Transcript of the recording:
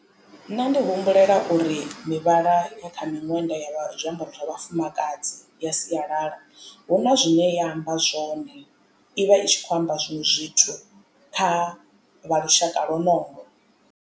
Nṋe ndi humbulela uri mivhala ya miṅwenda ya zwiambaro zwa vhafumakadzi ya sialala hu na zwine ya amba zwone ivha i tshi kho amba zwiṅwe zwithu kha vha lushaka lonolo.